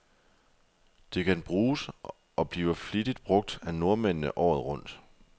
Det kan bruges, og bliver flittigt brug af nordmændene, året rundt.